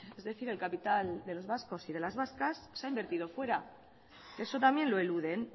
es decir el capital de los vascos y de las vascas se ha invertido fuera eso también lo eluden